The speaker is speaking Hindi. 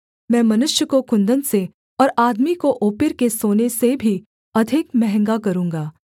मैं मनुष्य को कुन्दन से और आदमी को ओपीर के सोने से भी अधिक महँगा करूँगा